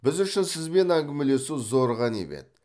біз үшін сізбен әңгімелесу зор ғанибет